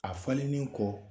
A fallenen kɔ